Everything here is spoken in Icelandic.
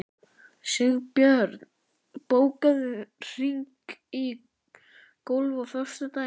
Sigbjörn, bókaðu hring í golf á föstudaginn.